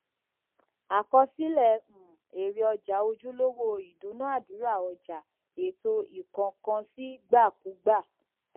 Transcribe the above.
àkọsílẹ um èrè ọjà ojúlówó ìdúnàdúrà ọjà ètò ìkónǹkansíìgbàkúgbà